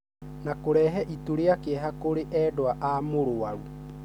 na kũrehe itu rĩa kĩeha kũrĩ endwa a mũrwaru.